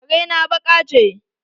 Kare na baka ce.